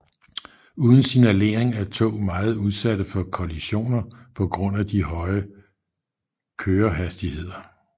Uden signalering er tog meget udsatte for kollisioner på grund af de højre kørehastigheder